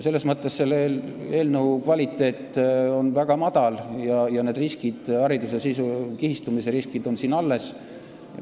Selles mõttes on selle eelnõu kvaliteet väga halb ja need hariduse kihistumise riskid on siin alles.